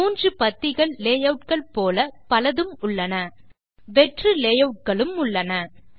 மூன்று பத்திகள் லேயூட் கள் போல பலதும் உண்டு வெற்று லேயூட் களும் உண்டு